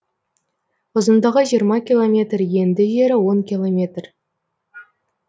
ұзындығы жиырма километр енді жері он километр